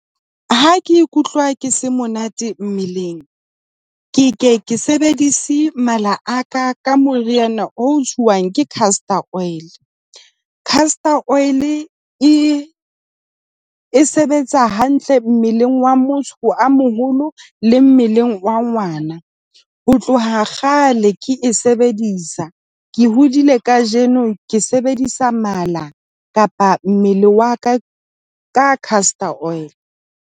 Ha ke ikutlwa ke se monate mmeleng, ke ke ke sebedise mala a ka ka moriana o jwang ke castor oil. Castor oil e e e sebetsa hantle mmeleng wa motho a moholo le mmeleng wa ngwana. Ho tloha kgale ke e sebedisa. Ke hodile kajeno ke sebedisa mala kapa mmele wa ka ka castor oil.